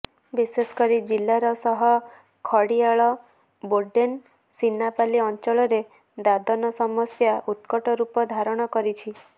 ବିଶେଷକରି ଜିଲ୍ଲାର ସହ ଖଡିଆଳ ବୋଡେନ ସିନାପାଲି ଅଞ୍ଚଳରେ ଦାଦନ ସମସ୍ୟା ଉତ୍କଟରୂପ ଧାରଣ କରିଛି